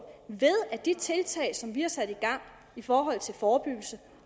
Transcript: ved at de tiltag som vi har sat i gang i forhold til forebyggelse